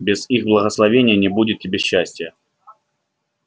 без их благословения не будет тебе счастья